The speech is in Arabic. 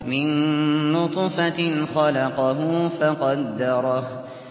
مِن نُّطْفَةٍ خَلَقَهُ فَقَدَّرَهُ